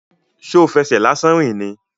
Ṣo fẹsẹ̀ lásán rìn ni?